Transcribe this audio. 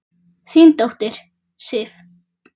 Þín dóttir, Sif.